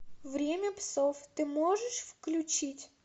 время псов ты можешь включить